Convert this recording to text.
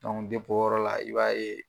dep'o yɔrɔ la i b'a ye